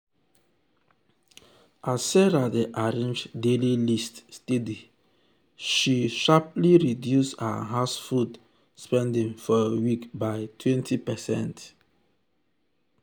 as sarah dey arrange daily list steady she steady she sharply reduce her house food spending for week by 20%.